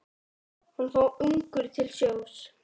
Hann fór ungur til sjós.